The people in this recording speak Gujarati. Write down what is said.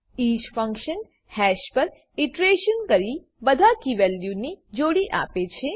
ઇચ ફંક્શન હેશપર ઈટરેશનસ કરીને બધા કી વેલ્યુની જોડી આપે છે